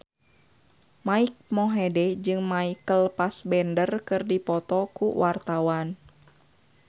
Mike Mohede jeung Michael Fassbender keur dipoto ku wartawan